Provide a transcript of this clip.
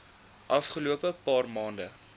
afgelope paar maande